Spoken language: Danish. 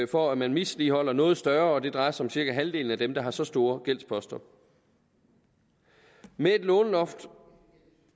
for at man misligholder noget større og det drejer sig om cirka halvdelen af dem der har så store gældsposter med et låneloft